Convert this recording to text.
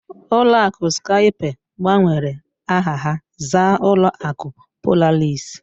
Ụlọ akụ Skype gbanwere aha ha zaa ụlọ akụ Polaris.